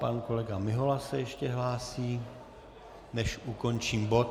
Pan kolega Mihola se ještě hlásí, než ukončím bod.